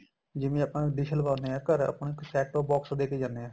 ਜਿਵੇਂ ਆਪਾਂ dish ਲਵਾਉਣੇ ਆ ਘਰ ਆਪਾਂ ਨੂੰ ਇੱਕ set o box ਦੇ ਕੇ ਜਾਨੇ ਏ